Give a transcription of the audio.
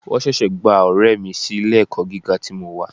Wọ́n ṣẹ̀ṣẹ̀ gba ọ̀rẹ́ mi sí ilé ẹ̀kọ́ gíga tí mo wà.